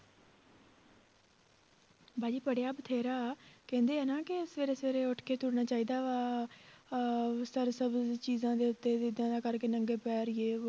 ਬਾਜੀ ਪੜ੍ਹਿਆ ਬਥੇਰਾ, ਕਹਿੰਦੇ ਹਨਾ ਕਿ ਸਵੇਰੇ ਸਵੇਰੇ ਉੱਠ ਕੇ ਤੁਰਨਾ ਚਾਹੀਦਾ ਵਾ ਅਹ ਚੀਜ਼ਾਂ ਦੇ ਉੱਤੇ ਵੀ ਏਦਾਂ ਏਦਾਂ ਕਰਕੇ ਨੰਗੇ ਪੈਰ ਜੇ